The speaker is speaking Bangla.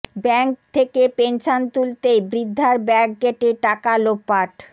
ব্যাঙ্ক থেকে পেনশন তুলতেই বৃদ্ধার ব্যাগ কেটে টাকা লোপাট